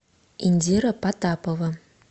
индира потапова